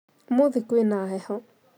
Ũmuthĩ kwĩna heho